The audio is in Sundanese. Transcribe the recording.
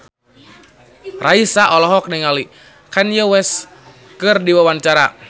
Raisa olohok ningali Kanye West keur diwawancara